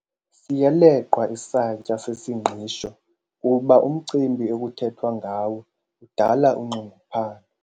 Siyaleqwa isantya sesingqisho kuba umcimbi ekuthethwa ngawo udala unxunguphalo.